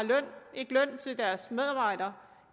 ikke betaler løn til deres medarbejdere